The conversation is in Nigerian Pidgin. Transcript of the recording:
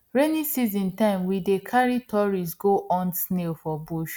rainy season time we dey carry tourists go hunt snail for bush